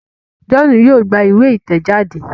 John yóò gbà ìwé itẹjade.